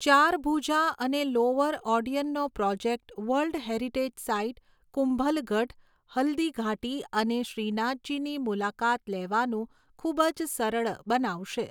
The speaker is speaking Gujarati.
ચારભુજા અને લોઅર ઓડિયનનો project world heritage site Kumbhalgarh, Haldighati અને શ્રીનાથજીની મુલાકાત લેવાનું ખૂબ જ સરળ બનાવશે.